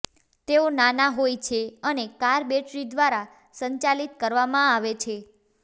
તેઓ નાના હોય છે અને કાર બેટરી દ્વારા સંચાલિત કરવામાં આવે છે